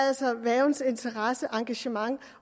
altså er værgens interesse og engagement